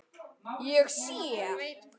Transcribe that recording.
Ég sé.